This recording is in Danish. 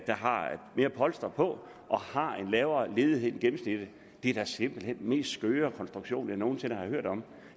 har mere polstring og har en lavere ledighed end gennemsnittet det er da simpelt hen den mest skøre konstruktion jeg nogen sinde har hørt om